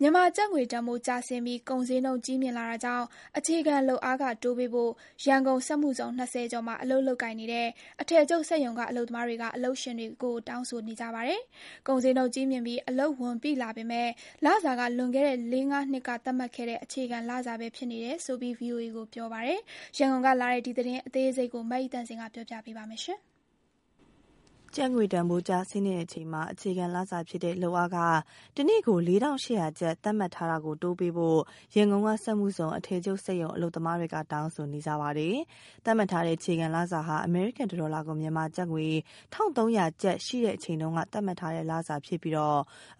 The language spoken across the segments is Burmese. မြန်မာကျပ်ငွေတန်ဖိုးကျဆင်းပြီး ကုန်ဈေးနှုန်းကြီးမြင့်လာတာကြောင့် အခြေခံ လုပ်အားခတိုးပေးဖို့ ရန်ကုန်စက်မှုဇုံ ၂၀ ကျော်မှာ လုပ်ကိုင်နေတဲ့ အထည်ချုပ် စက်ရုံအလုပ်သမားတွေက အလုပ်ရှင်တွေကို တောင်းဆိုနေကြပါတယ်။ ကုန်ဈေးနှုန်းကြီးမြင့်ပြီး အလုပ်ဝန်ပိုလာပေမယ့် လစာက လွန်ခဲ့တဲ့ လေးငါးနှစ်က သတ်မှတ်တဲ့ အခြေခံလစာပဲဖြစ်နေတယ်ဆိုပြီး VOA ကိုပြောပါတယ်။ အသေးစိတ်ကို မဆုမွန်က တင်ပြပေးထားပါတယ်။ ကျပ်ငွေတန်ဖိုးကျဆင်းနေချိန်မှာ အခြေခံလစာလုပ်အားခ တနေ့ ၄,၈၀၀ ကျပ် သတ်မှတ်ထားတာတိုးပေးဖို့ ရန်ကုန်စက်မှုဇုံ အထည်ချုပ်စက်ရုံ အလုပ်သမားတွေက တောင်းဆိုနေကြတာပါ။ သတ်မှတ်ထားတဲ့ အခြေခံလစာဟာ အမေရိကန်တဒေါ်လာကို မြန်မာငွေ ၁,၃၀၀ ကျပ် ရှိတဲ့အချိန်တုန်းက သတ်မှတ်ထားတဲ့ လစာဖြစ်ပြီး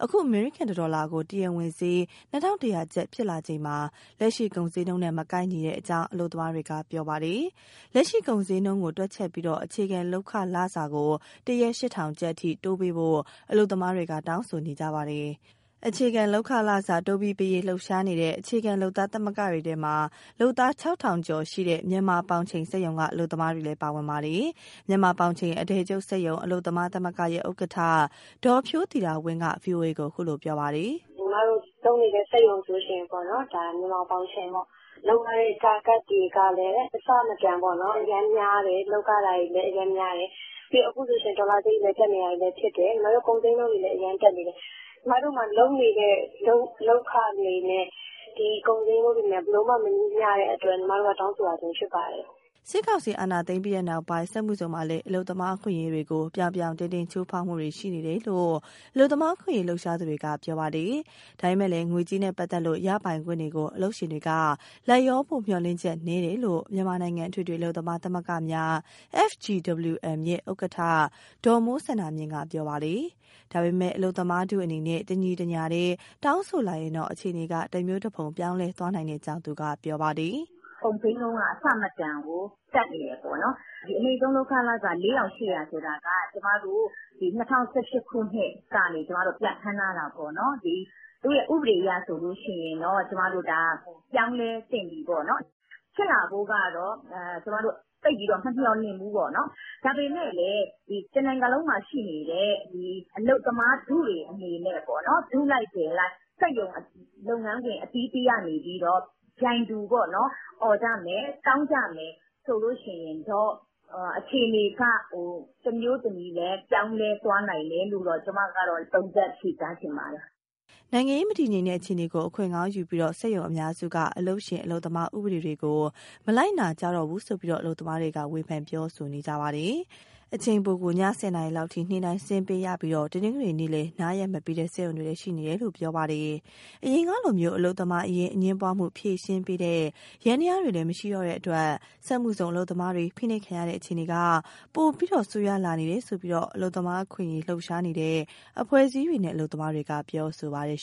အခုအမေရိကန်တဒေါ်လာကို တရားဝင်ဈေး ၂,၁၀၀ ကျပ် ဖြစ်လာချိန်မှာ လက်ရှိ ကုန်ဈေးနှုန်းနဲ့မကိုက်တဲ့အကြောင်း အလုပ်သမားတွေက ပြောပါတယ်။ လက်ရှိ ကုန်ဈေးနှုန်းကိုတွက်ချက်ပြီး အခြေခံလုပ်ခလစာကို တရက် ၈,၀၀၀ ကျပ်အထိ တိုးပးဖို့ အလုပ်သမားတွေက တောင်းဆိုပါတယ်။ အခြေခံလုပ်ခလစာ တိုးပြီးပေးရေး လှုပ်ရှားနေတဲ့ အခြေခံလုပ်သား သမဂ္ဂတွေထဲမှာ လုပ်သား ၆,၀၀၀ ကျော်ရှိတဲ့ မြန်မာပေါင်ချိန်စက်ရုံက အလုပ်သမားတွေလည်း ပါပါတယ်။ မြန်မာပေါင်ချိန်အထည်ချုပ်စက်ရုံ အလုပ်သမားသမဂ္ဂရဲ့ ဥက္ကဋ္ဌ ဒေါ်ဖြိုးသီတာဝင်းက ဗွီအိုအေကို အခုလို ပြောပါတယ်။ "ညီမတို့လုပ်နေတဲ့စက်ရုံဆိုရင် မြန်မာပေါင်ချိန်ပေါ့။ လုပ်ရတဲ့ target တွေကလည်း အဆမတန်အရမ်းများတယ်၊ လုပ်ရတာတွေ အရမ်းများတယ်။ အခုဆိုရင် ဒေါ်လာဈေးတက်နေတာတွေလည်း ဖြစ်တယ်၊ ကုန်ဈေးနှုန်းတွေလည်း အရမ်းတက်နေတယ်၊ ညီမတို့မှာ လုပ်နေတဲ့လုပ်ခတွေနဲ့ ဒီကုန်ဈေးနှုန်းတွေနဲ့ ဘယ်လိုမှ မညီမျှ တဲ့အတွက် ညီမတို့က တောင်းဆိုရခြင်း ဖြစ်ပါတယ်။" စစ်ကောင်စီအာဏာသိမ်ပြီးနောက်ပိုင်း စက်မှုဇုံမှာလည်း အလုပ်သမားအခွင့်အရေးတွေကို ပြောင်ပြောင်တင်းတင်း ချိုးဖောက်မှုတွေရှိနေတယ်လို့ အလုပ်သမား အခွင့်အရေး လှုပ်ရှားသူတွေက ပြောပါတယ်။ ဒါပေမယ့် ငွေကြေးနဲ့ပတ်သက်တဲ့ ရပိုင်ခွင့်တွေကို အလုပ်ရှင်တွေက လိုက်လျောဖို့မျှော်လင့်ချက်နည်းတယ်လို့ မြန်မာနိုင်ငံ အထွေထွေအလုပ်သမားသမဂ္ဂများ FGWM ရဲ့ ဥက္ကဋ္ဌ ဒေါ်မိုးစန္ဒာမြင့် က ပြောပါတယ်။ ဒါပေမယ့် အလုပ်သမားထုအနေနဲ့ တညီတညာတည်း တောင်းဆိုလာရင်တော့ အခြေအနေက တမျိုးတဖုံ ပြောင်းလဲသွားနိုင်ကြောင်း သူကပြောပါတယ်။ "ကုန်ဈေးနှုန်းက အဆမတန်တက်နေတယ်ပေါ့နော်။ အနိမ့်ဆုံးလုပ်ခလစာ ၄,၈၀၀ ဆိုတာက ၂၀၁၈ ခုနှစ်ကနေ ပြဋ္ဌာန်းထားတာပေါ့နော်။ ဥပဒေအရဆိုရင်တော့ ပြောင်းလဲသင့်ပြီပေါ့နော်။ ဖြစ်လာဖို့ကတော့ ကျမတို့ သိပ်ပြီးမမျှော်လင့်ဘူးပေါ့နော်။ ဒါပေမယ့်လည်း တနိုင်ငံလုံးမှာရှိနေတဲ့ အလုပ်သမားထုတွေ ထုလိုက်ထည်လိုက် စက်ရုံ၊ လုပ်ငန်းခွင်အသီးသီးကနေပြီးတော့ ပြိုင်တူအော်ကြမယ်၊ တောင်းကြမယ် ဆိုလို့ရှိရင်တော့ အခြေအနေက တမျိုးတမည်ပြောင်းလဲသွားနိုင်တယ်လို့ ကျမကသုံးသပ်၊ ဖြေကြားချင်ပါတယ်။" နိုင်ငံရေး မတည်ငြိမ်တဲ့အခြေအနေကို အခွင့်ကောင်းယူပြီး စက်ရုံအများစုက အလုပ်ရှင်၊ အလုပ်သမားဥပဒေတွေကို မလိုက်နာကြတော့ဘူးလို့ အလုပ်သမားတွေက ဝေဖန်ပြောဆိုနေပါတယ်။ အချိန်ပိုကို ည ၁၀ နာရီလောက်အထိ နေ့တိုင်း ဆင်းပေးရပြီး တနင်္ဂနွေလည်း နားရက်မပေးတဲ့ စက်ရုံတွေလည်း ရှိနေတယ်လို့ ပြောပါတယ်။ အရင်ကလို အလုပ်သမားအရေး အငြင်းပွားမှုဖြေရှင်းပေးတဲ့ ယန္တရားတွေလည်း မရှိတော့တဲ့အတွက် စက်မှုဇုံအလုပ်သမားတွေ ဖိနှိပ်ခံရတဲ့အခြေအနေက ပိုပြီးဆိုးရွားလာနေတယ်ဆိုပြီး အလုပ်သမားအခွင့်အရေး လှုပ်ရှားနေတဲ့ အဖွဲ့အစည်းတွေနဲ့ အလုပ်သမားတွေက ပြောဆိုပါတယ်